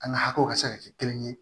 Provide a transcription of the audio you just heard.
An ka hakɛw ka se ka kɛ kelen ye